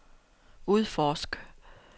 udforsk